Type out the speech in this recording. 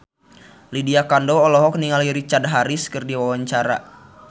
Lydia Kandou olohok ningali Richard Harris keur diwawancara